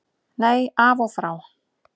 Nei, af og frá.